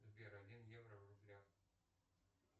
сбер один евро в рублях